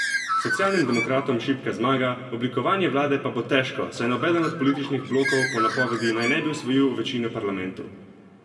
Socialnim demokratom šibka zmaga, oblikovanje vlade pa bo težko, saj nobeden od političnih blokov po napovedih naj ne bi osvojil večine v parlamentu.